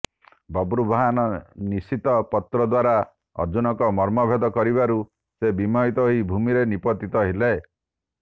ବଭ୍ରୁବାହନ ନିଶିତ ପତ୍ରିଦ୍ୱାରା ଅର୍ଜୁନଙ୍କର ମର୍ମଭେଦ କରିବାରୁ ସେ ବିମୋହିତ ହୋଇ ଭୂମିରେ ନିପତିତ ହେଲେ